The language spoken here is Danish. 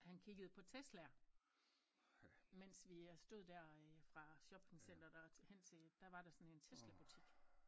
Han kiggede på Teslaer mens vi øh stod der øh fra shoppingcenteret og hen til der var der sådan en Teslabutik